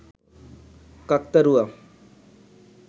কাকতাড়ুয়া